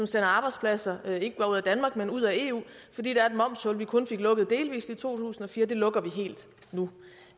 sender arbejdspladser ud af danmark men ud af eu fordi der er et momshul vi kun fik lukket delvis i to tusind og fire det lukker vi helt nu